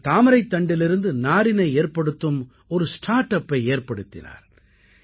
அவர் தாமரைத்தண்டிலிருந்து நாரினை ஏற்படுத்தும் ஒரு ஸ்டார்ட் அப்பை ஏற்படுத்தினார்